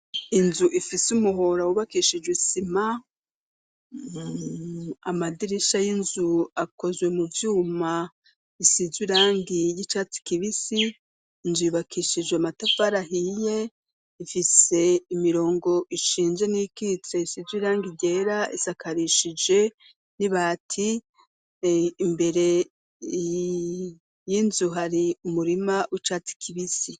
Inzu ifise umuhora wubakishijwe isima, amadirisha y'inzu akozwe mu vyuma isizwe irangi ry'icatsi kibisi, inzu yubakishijwe amatafari ahiye, ifise imirongo ishinze n'iyikitse isize irangi ryera, isakarishije n'ibati, imbere y'inzu hari umurima w'icatsi kibisi.